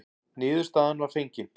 Niðurstaðan var fengin.